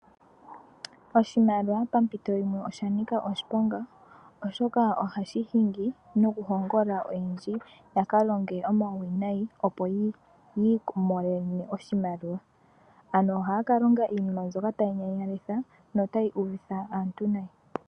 Oshimaliwa pampito yimwe osha nika oshiponga, oshoka ohashi hingi no kuhongolola aantu yaka longe owauwinayi, opo yi imonene oshimaliwa. Ano ohaya ka longa iinima mbyoka tayi nyanyalitha, notayi uvitha aantu nayi.